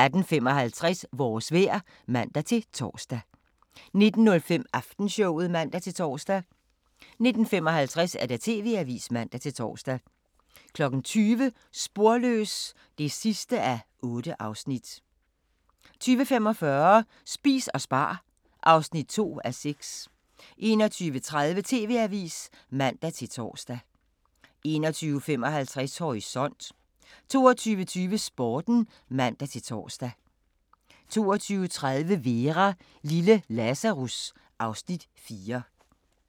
18:55: Vores vejr (man-tor) 19:05: Aftenshowet (man-tor) 19:55: TV-avisen (man-tor) 20:00: Sporløs (8:8) 20:45: Spis og spar (2:6) 21:30: TV-avisen (man-tor) 21:55: Horisont 22:20: Sporten (man-tor) 22:30: Vera: Lille Lazarus (Afs. 4)